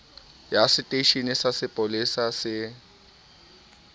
ya seteisheneng sa sepolesa se